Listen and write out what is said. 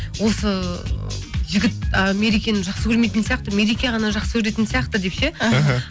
осы жігіт мерекені жақсы көрмейтін сияқты мереке ғана жақсы көретін сияқты деп ше іхі